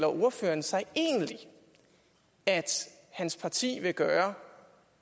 ordføreren sig egentlig at hans parti vil gøre